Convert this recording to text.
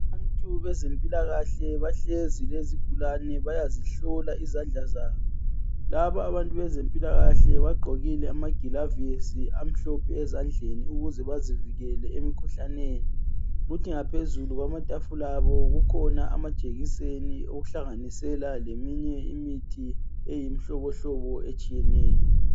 Abantu bezempilakahle bahlezi lezigulane bayazihlola izandla zabo. Laba abantu bezempilakahle bagqokile amagilavusi ezandleni ukuze bazivikele emkhuhlaneni. Kuthi ngaphezulu kwamatafula abo kukhona amajekiseni okuhlanganisela leminye imithi eyimihlobohlobo etshiyeneyo.